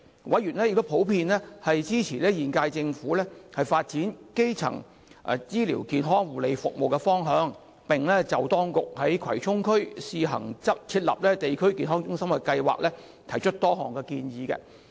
委員普遍支持現屆政府發展基層醫療健康護理服務的方向，並就當局在葵涌試行設立地區康健中心的計劃，提出多項建議。